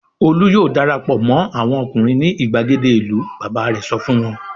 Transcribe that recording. "Olú yóò dara pọ̀ mọ́ àwọn ọkùnrin ní ìgbàgede ìlú!" Bàbá rẹ̀ sọ fún wọn.